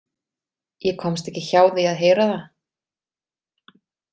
Ég komst ekki hjá því að heyra það.